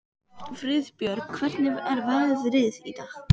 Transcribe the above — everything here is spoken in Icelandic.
Friðbjörg, hvernig er veðrið í dag?